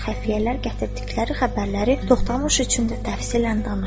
Xəfiyyələr gətirdikləri xəbərləri Toxtamış üçün də təfsilən danışdılar.